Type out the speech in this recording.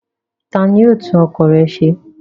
Ta ni yóò tún ọkọ̀ rẹ ṣe?